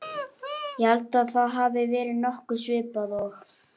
Ég held að það hafi verið nokkuð svipað og